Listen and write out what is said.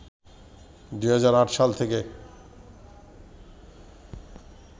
২০০৮ সালে থেকে